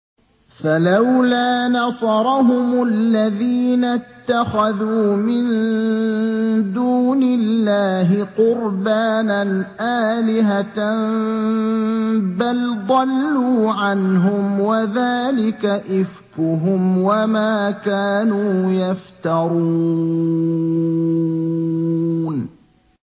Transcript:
فَلَوْلَا نَصَرَهُمُ الَّذِينَ اتَّخَذُوا مِن دُونِ اللَّهِ قُرْبَانًا آلِهَةً ۖ بَلْ ضَلُّوا عَنْهُمْ ۚ وَذَٰلِكَ إِفْكُهُمْ وَمَا كَانُوا يَفْتَرُونَ